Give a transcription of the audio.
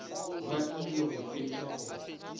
ba ile go fetša go